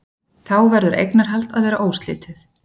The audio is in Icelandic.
Þá verður eignarhald að vera óslitið.